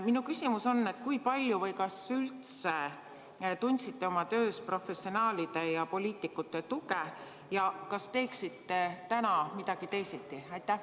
Minu küsimus on järgmine: kui palju või kas üldse tundsite oma töös professionaalide ja poliitikute tuge ning kas teeksite täna midagi teisiti?